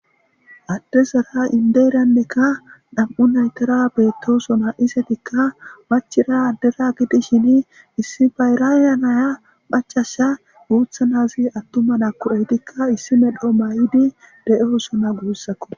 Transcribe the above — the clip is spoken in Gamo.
adde sara indeyrannekka dham7u naytara beettosona isetikka machira addera gidishini issi bayraya naya phachasha guuthanazi attuma nakko7ehtikka issi medho may7idi de7oo sona guussakko